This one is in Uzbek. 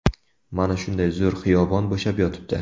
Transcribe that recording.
Mana shunday zo‘r xiyobon bo‘shab yotibdi.